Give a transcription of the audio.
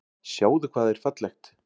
Sjáðu hvað er fallegt.